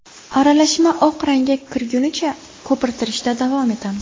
Aralashma oq rangga kirgunicha ko‘pirtirishda davom etamiz.